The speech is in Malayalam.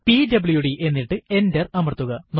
പിഡബ്ല്യുഡി എന്നിട്ട് എന്റർ അമർത്തുക